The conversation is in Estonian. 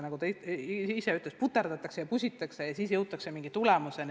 Nagu ta ütles, puterdatakse ja pusitakse ja lõpuks jõutakse mingi tulemuseni.